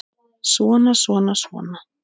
Svona, svona, svona.